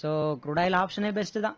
so crude oil option னே best தான்